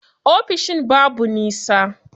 Ofishin babu nisa.